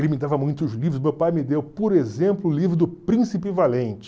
Ele me dava muitos livros, meu pai me deu, por exemplo, o livro do Príncipe Valente.